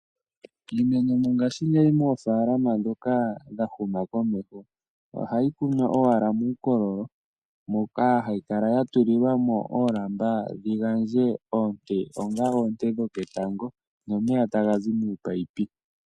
Iimeno mongashingeyi mofalama dhoka dhahuma komeho ohayikunwa owala mukololo moka hayikala yatulilwamo oolamba dhingandje oonte onga oonte dhoketango momeya tangazi mupayipi .